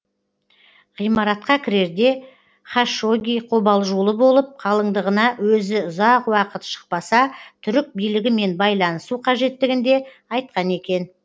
ғимаратқа кірерде хашогги қобалжулы болып қалыңдығына өзі ұзақ уақыт шықпаса түрік билігімен байланысу қажеттігін де айтқан екен